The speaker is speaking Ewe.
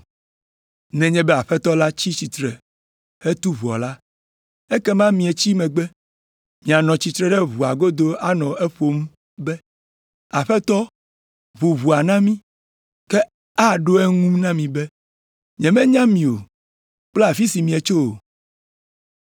Nenye be Aƒetɔ la tsi tsitre hetu ʋɔa la, ekema mietsi megbe. Mianɔ tsitre ɖe ʋɔa godo anɔ eƒom be, ‘Aƒetɔ, ʋu ʋɔa na mi.’ “Ke aɖo eŋu na mi be, ‘Nyemenya mi kple afi si mietso o.’